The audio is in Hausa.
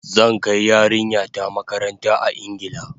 Zan kai yarinya ta makaranta a Ingila